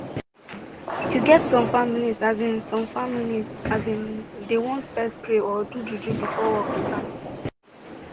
you get some families asin some families asin dey want fess pray or do juju before work start